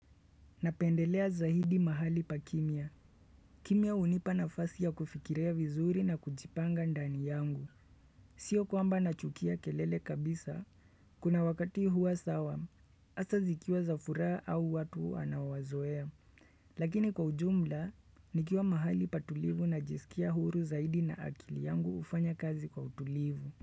Napendelea zaidi mahali pa kimya. Kimya hunipa nafasi ya kufikiria vizuri na kujipanga ndani yangu. Sio kwamba nachukia kelele kabisa. Kuna wakati huwa sawa. Asa zikiwa za furaha au watu wanao wazoea. Lakini kwa ujumla, nikiwa mahali patulivu najisikia huru zaidi na akili yangu hufanya kazi kwa utulivu.